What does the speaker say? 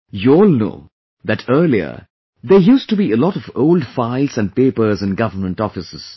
You all know that earlier there used to be a lot of old files and papers in government offices